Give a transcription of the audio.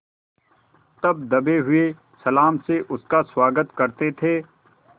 तब दबे हुए सलाम से उसका स्वागत करते थे